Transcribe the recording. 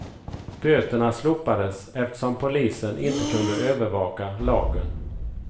Böterna slopades eftersom polisen inte kunde övervaka lagen.